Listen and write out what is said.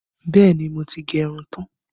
Bẹẹ ni, mo ti gẹ irun tán